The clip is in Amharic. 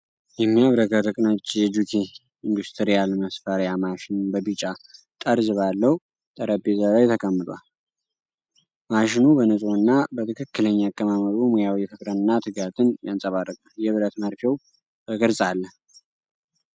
የሚያብረቀርቅ ነጭ የጁኪ ኢንዱስትሪያል መስፊያ ማሽን በቢጫ ጠርዝ ባለው ጠረጴዛ ላይ ተቀምጧል። ማሽኑ በንጹህ እና በትክክለኛ አቀማመጡ ሙያዊ ፍቅርንና ትጋትን ያንፀባርቃል። የብረት መርፌው በግልፅ አለ።